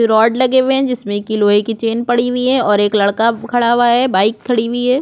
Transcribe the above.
Rod लगे हुये है जिसमें की लोहे की चैन पड़ी हुई है और एक लड़का खड़ा हुआ है बाइक खड़ी हुई हैं ।